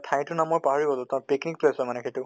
ঠাই টোৰ নাম মই পাহৰি গʼলো তাত trekking place হয় মানে সিইটো